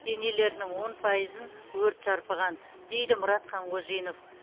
денелерінің он пайызын өрт шарпыған дейді мұрат қанғожинов